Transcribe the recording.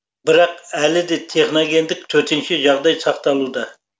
бірақ әлі де техногендік төтенше жағдай сақталуда